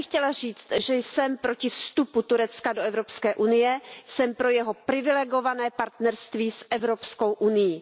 Já bych chtěla říct, že jsem proti vstupu Turecka do Evropské unie, jsem pro jeho privilegované partnerství s Evropskou unií.